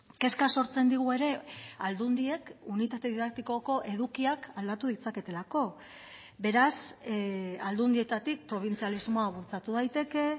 kezka sortzen digu ere aldundiek unitate didaktikoko edukiak aldatu ditzaketelako beraz aldundietatik probintzialismoa bultzatu daiteke